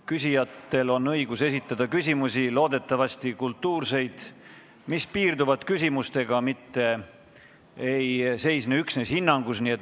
Küsijatel on õigus esitada küsimusi, loodetavasti on need kultuursed ja piirduvad küsimisega, mitte ei seisne üksnes hinnangu andmises.